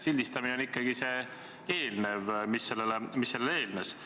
Sildistamine oli ikkagi see, mis sellele eelnes.